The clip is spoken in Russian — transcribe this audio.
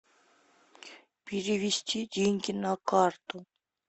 перевести деньги на карту